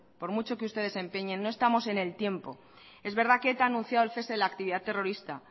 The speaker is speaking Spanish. por mucho que ustedes se empeñen no estamos en el tiempo es verdad que eta ha anunciado el cese de la actividad terrorista